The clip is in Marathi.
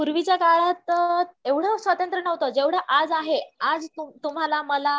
पूर्वीच्या काळात एवढं स्वातंत्र नव्हतं जेव्हडं आज आहे आज तुम्हाला मला